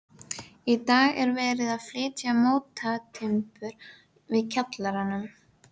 Hann verður alltaf voða spenntur yfir öllum náttúruhamförum og svoleiðis.